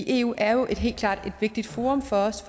eu er jo helt klart et vigtigt forum for os